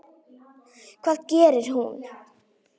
Hvað gerir hún?